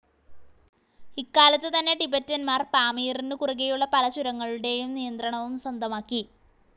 ഇക്കാലത്ത് തന്നെ ടിബെറ്റന്മാർ പാമീറിനു കുറുകെയുള്ള പല ചുരങ്ങളുടേയും നിയന്ത്രണവും സ്വന്തമാക്കി.